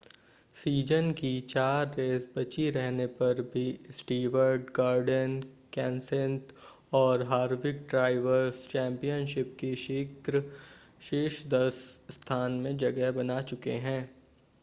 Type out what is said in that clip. season की चार race बची रहने पर भी स्टीवर्ट गॉर्डन केंसेथ और हार्विक ड्राइवर्स चैम्पियनशिप के शीर्ष-दस स्थान में जगह बना चुके हैं